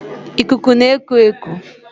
Ikuku na-eku eku